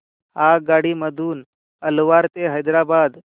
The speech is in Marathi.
आगगाडी मधून अलवार ते हैदराबाद